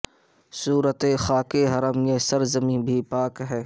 صورت خاک حرم یہ سر زمیں بھی پاک ہے